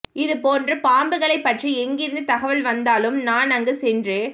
இதுபோன்று பாம்புகளைப் பற்றி எங்கிருந்து தகவல் வந்தாலும் நான் அங்கு சென்று